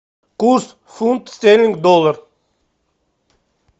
курс фунт стерлинг доллар